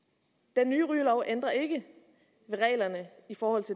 den nye rygelov ændrer ikke ved reglerne for